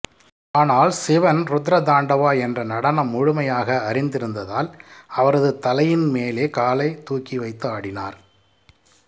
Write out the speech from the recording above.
ஆனால் சிவன் ருத்ர தாண்டவா என்ற நடனம் முழுமையாக அறிந்திருந்ததால் அவரது தலையின் மேலே காலை தூக்கி வைத்து ஆடினார்